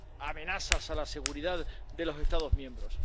amenazas a la seguridad de los Estados miembros.